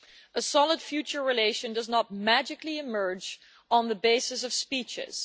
A solid future relation does not magically emerge on the basis of speeches.